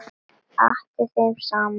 Atti þeim saman.